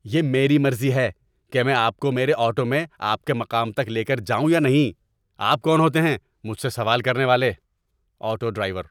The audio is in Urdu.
یہ میری مرضی ہے کہ میں آپ کو میرے آٹو میں آپ کے مقام تک لے کر جاؤں یا نہیں۔ آپ کون ہوتے ہیں مجھ سے سوال کرنے والے؟ (آٹو ڈرائیور)